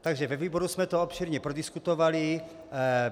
Takže ve výboru jsme to obšírně prodiskutovali.